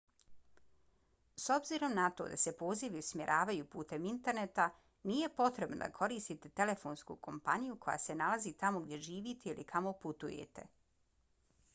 s obzirom na to da se pozivi usmjeravaju putem interneta nije potrebno da koristite telefonsku kompaniju koja se nalazi tamo gdje živite ili kamo putujete